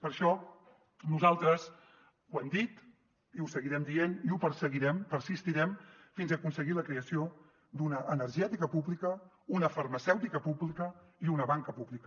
per això nosaltres ho hem dit i ho seguirem dient i ho perseguirem persistirem fins a aconseguir la creació d’una energètica pública una farmacèutica pública i una banca pública